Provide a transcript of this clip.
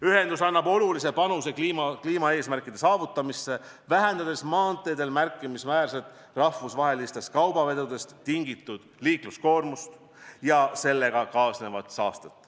Ühendus annab olulise panuse kliimaeesmärkide saavutamisse, vähendades maanteedel märkimisväärselt rahvusvahelistest kaubavedudest tingitud liikluskoormust ja sellega kaasnevat saastet.